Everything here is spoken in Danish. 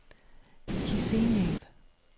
Kishinev